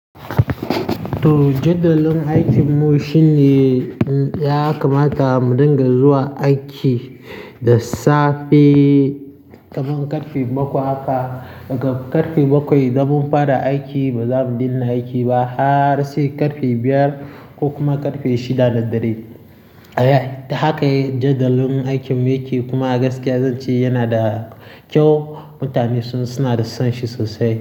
To, jadawalin aikinmu shine ya kamata mu dinga zuwa aiki da safe kaman karfe bakwai haka. Daga karfe bakwai zamu fara aiki ba zamu dina aiki ba har sai karfe biyar ko kuma karfe shida na dare. Haka ne jadalin aikinmu yake kuma gaskiya zan ce yana da kyau. Mutane suna son shi sosai.